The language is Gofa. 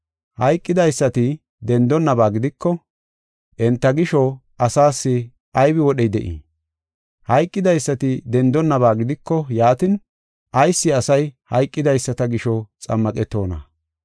Hayqidaysati dendonaba gidiko enta gisho xammaqetiya asaas ayba wodhey de7ii? Hayqidaysati dendonaba gidiko yaatin, ayis, asay hayqidaysata gisho xammaqetoona?